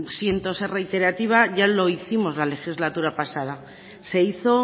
siento ser reiterativa ya lo hicimos la legislatura pasada se hizo